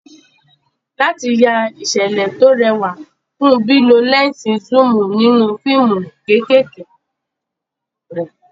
Láti ya ìṣẹ̀lẹ̀ tó rẹwà, Kunbi lo lẹ́ńsì zoom nínú fíìmù kéékèèké rẹ̀.